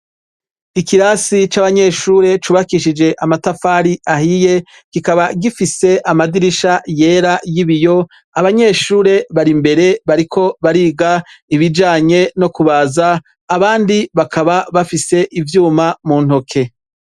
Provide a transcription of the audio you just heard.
Ikirasi c' abanyeshure cubakishije amatafari ahiye, kikaba gifise amadirisha yer y' ibiyo, abanyeshure bari imbere bariko bariga, ibijanye no kubaza, abandi bakaba bafise ivyuma mu ntoke.